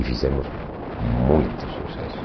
E fizemos muito sucesso.